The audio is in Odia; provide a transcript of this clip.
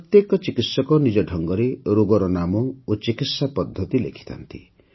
ପ୍ରତ୍ୟେକ ଚିକିତ୍ସକ ନିଜ ଢଙ୍ଗରେ ରୋଗର ନାମ ଓ ଚିକିତ୍ସା ପଦ୍ଧତି ଲେଖିଥାନ୍ତି